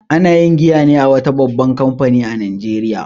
Ana yin giya ne a wata babbar kamfani a Najeriya